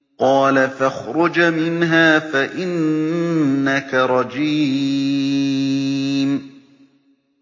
قَالَ فَاخْرُجْ مِنْهَا فَإِنَّكَ رَجِيمٌ